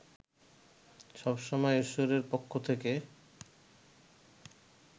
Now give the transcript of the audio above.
সব সময় ঈশ্বরের পক্ষ থেকে